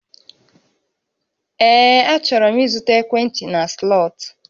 Ee, achọrọ m ịzụta ekwentị na Slọt